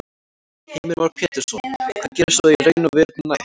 Heimir Már Pétursson: Hvað gerist svo í raun og veru næst?